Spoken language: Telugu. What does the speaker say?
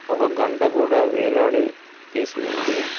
ఒక గంట కూడా వేలాడ దీసి ఉంది.